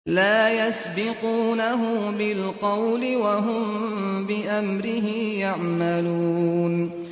لَا يَسْبِقُونَهُ بِالْقَوْلِ وَهُم بِأَمْرِهِ يَعْمَلُونَ